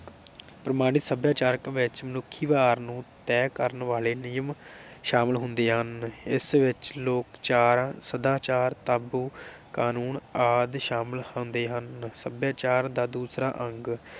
ਪ੍ਰਮਾਣਿਕ ਸਭਿਆਚਾਰ ਵਿਚ ਮਨੁੱਖੀ ਵਿਵਹਾਰ ਨੂੰ ਤੈਅ ਕਰਨ ਵਾਲੇ ਨਿਯਮ ਸ਼ਾਮਿਲ ਹੁੰਦੇ ਹਨ। ਇਸ ਵਿਚ ਲੋਕ ਚਾਰ ਸਦਾਚਾਰ ਤਾਬੂ, ਕਾਨੂੰਨ ਆਦਿ ਸ਼ਾਮਿਲ ਹੁੰਦੇ ਹਨ। ਸਭਿਆਚਾਰ ਦਾ ਦੂਸਰਾ ਅੰਗ